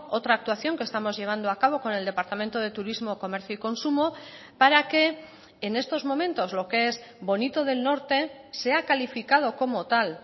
otra actuación que estamos llevando a cabo con el departamento de turismo comercio y consumo para que en estos momentos lo que es bonito del norte sea calificado como tal